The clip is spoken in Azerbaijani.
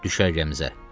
Düşərgəmizə.